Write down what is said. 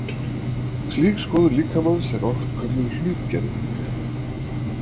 slík skoðun líkamans er oft kölluð hlutgerving